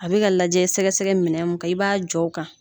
A bɛ ka lajɛ sɛgɛsɛgɛ minɛ min kan i b'a jɔ o kan